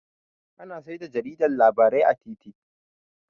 Ana saida jarida labarai a titi